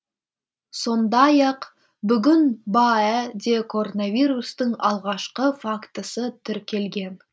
сондай ақ бүгін баә де коронавирустың алғашқы фактісі тіркелген